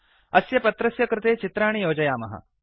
अस्य पत्रस्य कृते चित्राणि योजयामः